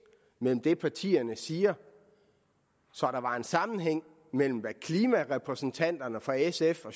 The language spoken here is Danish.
mellem det partierne siger så der var en sammenhæng mellem hvad klimarepræsentanterne fra sf og